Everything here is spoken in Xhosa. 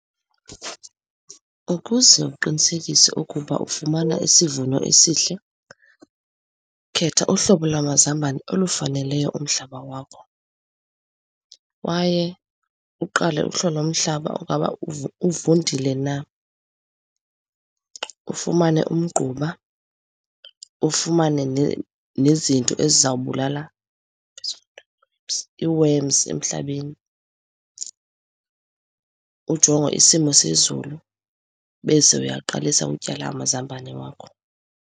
Ukuze uqinisekise ukuba ufumana isivuno esihle, khetha uhlobo lwamazambane olufaneleyo umhlaba wakho. Kwaye uqale uhlole umhlaba ungaba uvundile na. Ufumane umgquba, ufumane nezinto ezizawubulala i-worms emhlabeni. Ujonge isimo sezulu, bese uyaqalisa utyala amazambane wakho.